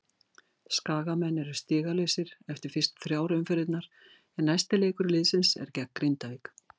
Skagamenn eru stigalausir eftir fyrstu þrjár umferðirnar en næsti leikur liðsins er gegn Grindavík.